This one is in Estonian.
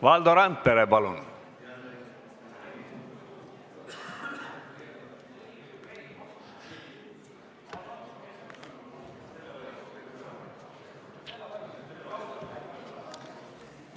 Valdo Randpere, palun!